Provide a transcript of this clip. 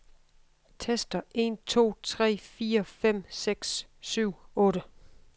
Tester en to tre fire fem seks syv otte.